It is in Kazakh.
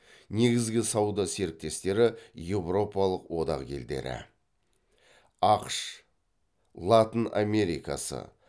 негізгі сауда серіктестері еуропалық одақ елдері ақш латын америкасы